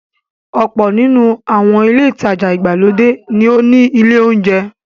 Ọ̀pọ̀ nínú àwọn ilé-ìtajà ìgbàlódé ní ó ní ilé-oúnjẹ.